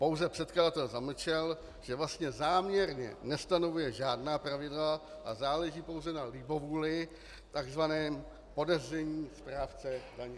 Pouze předkladatel zamlčel, že vlastně záměrně nestanovuje žádná pravidla a záleží pouze na libovůli tzv. podezření správce daně.